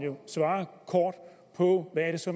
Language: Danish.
jo svare kort på hvad det så